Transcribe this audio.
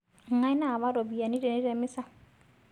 Ngai nawa ropiyiani tene temeza